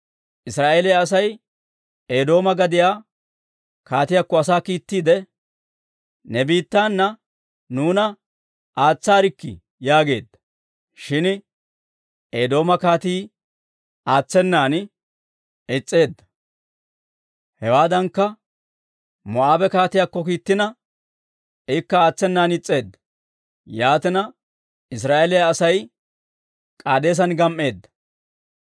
Israa'eeliyaa Asay Eedooma gadiyaa kaatiyaakko asaa kiittiide, ‹Ne biittaana nuuna aatsaarikkii› yaageedda; shin Eedooma kaatii aatsenan is's'eedda. Hewaadankka, Moo'aabe kaatiyaakko kiittina, ikka aatsenan is's'eedda. Yaatina, Israa'eeliyaa Asay K'aadeesen gam"eedda.